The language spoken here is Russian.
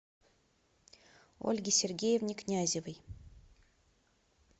ольге сергеевне князевой